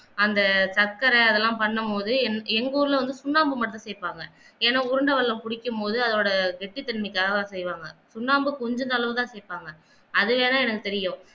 அந்த சக்கர அதெல்லாம் பண்ணும் போது உங்க ஊர்ல வந்து சுண்ணாம்பு மட்டும் சேர்ப்பாங்க ஏன்னா உருண்ட வெள்ளம் புடிக்கும் பொது அதோட கெட்டித்தன்மைக்காக செய்வாங்க சுண்ணாம்பு கொஞ்சம் அளவு தான் சேர்ப்பாங்க அது வேணா எனக்கு தெரியும்